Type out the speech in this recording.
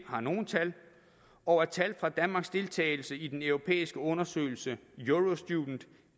har nogle tal og at tal fra danmarks deltagelse i den europæiske undersøgelse eurostudent